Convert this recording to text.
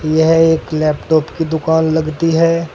यह एक लैपटॉप की दुकान लगती है।